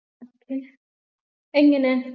അതെങ്ങനെ